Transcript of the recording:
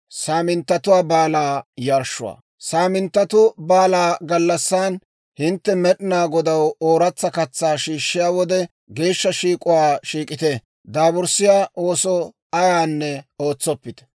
« ‹Saaminttatu Baalaa gallassan hintte Med'inaa Godaw ooratsa katsaa shiishshiyaa wode, geeshsha shiik'uwaa shiik'ite; daaburssiyaa ooso ayaanne ootsoppite.